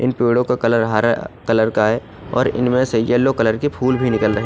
इन पदों का कलर हरा कलर का है और इनमे से येल्लो कलर के फुल भी निकल रहे है।